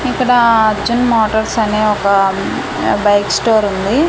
ఇక్కడా అర్జున్ మోటార్స్ అని ఒక ఆ బైక్ స్టోర్ ఉంది.